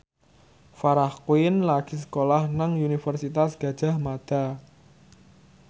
Farah Quinn lagi sekolah nang Universitas Gadjah Mada